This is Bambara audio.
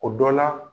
O dɔ la